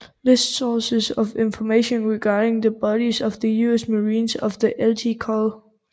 Lists sources of information regarding the bodies of the US Marines of the Lt Col